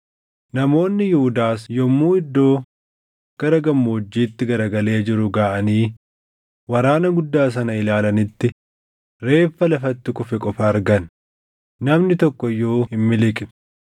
Namoonni Yihuudaas yommuu iddoo gara gammoojjiitti garagalee jiru gaʼanii waraana guddaa sana ilaalanitti reeffa lafatti kufe qofa argan; namni tokko iyyuu hin miliqne.